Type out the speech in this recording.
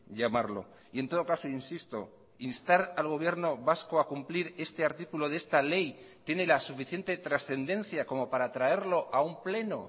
llamarlo y en todo caso insisto instar al gobierno vasco a cumplir este artículo de esta ley tiene la suficiente trascendencia como para traerlo a un pleno